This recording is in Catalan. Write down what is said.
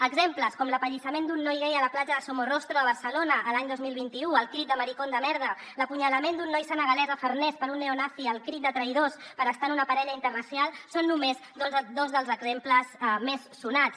exemples com l’apallissament d’un noi gai a la platja de somorrostro de barcelona l’any dos mil vint u al crit de maricon de merda o l’apunyalament d’un noi senegalès a farners per un neonazi al crit de traïdors per estar amb una parella interracial són només dos dels exemples més sonats